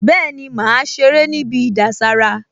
Bẹ́ẹ̀ni, màá ṣeré níbi ìdására